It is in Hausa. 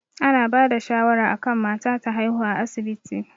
Ana bada shawara akan mata ta haihuwa a asibiti